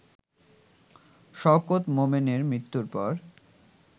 শওকত মোমেনের মৃত্যুর পর